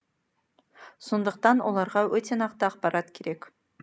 сондықтан оларға өте нақты ақпарат керек